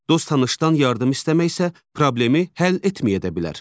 Dost-tanışdan yardım istəmək isə problemi həll etməyə də bilər.